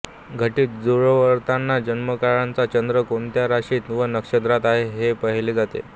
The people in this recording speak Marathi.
घटित जुळवताना जन्म काळचा चंद्र कोणत्या राशीत व नक्षत्रांत आहे हे पाहिले जाते